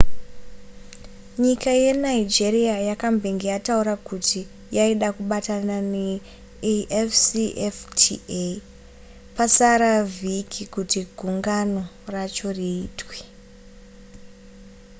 nyika yenigeria yakambenge yataura kuti yaida kubatana neafcfta pasara vhiki kuti gungano racho riitwe